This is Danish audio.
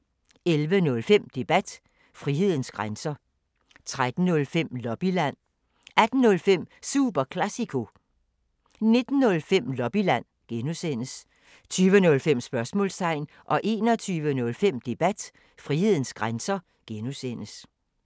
11:05: Debat: Frihedens grænser 13:05: Lobbyland 18:05: Super Classico 19:05: Lobbyland (G) 20:05: Sportsmålstegn 21:05: Debat: Frihedens grænser (G)